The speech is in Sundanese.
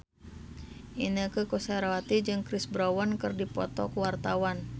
Inneke Koesherawati jeung Chris Brown keur dipoto ku wartawan